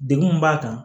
Degun min b'a kan